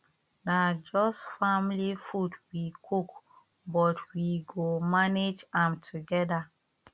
na just family food we cook but we go manage am together